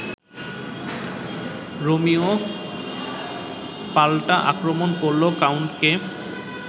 Romeo পালটা আক্রমণ করল কাউন্টকে